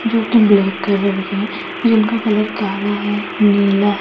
जो की black colour के हैं जिनका कलर काला है नीला--